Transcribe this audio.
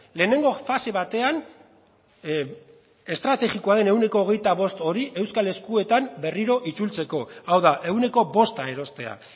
lehenengo fase batean estrategikoaren ehuneko hogeita bost hori euskal eskuetan berriro itzultzeko hau da ehuneko bosta erostea